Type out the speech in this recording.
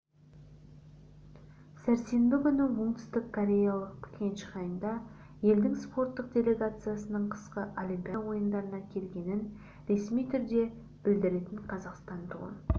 сәрсенбі күні оңтүстік кореялық пхенчханда елдің спорттық делегациясының қысқы олимпиада ойындарына келгенін ресми түрде білдіретін қазақстан туын